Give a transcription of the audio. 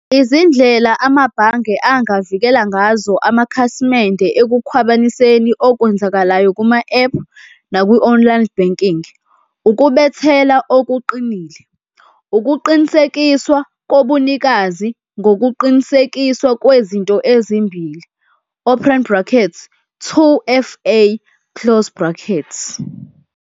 Izindlela amabhange angavikela ngazo amakhasimende ekukhwabaniseni okwenzakalayo kuma-app nakwi-online banking ukubethela okuqinile, ukuqinisekiswa kobunikazi ngokuqinisekiswa kwezinto ezimbili, open brackets, two F_A, close brackets.